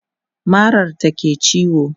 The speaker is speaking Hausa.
marar ta ke ciwo